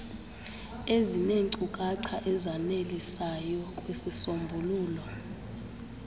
ezineenkcukacha ezanelisayo kwizisombululo